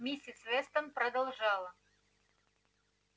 миссис вестон продолжала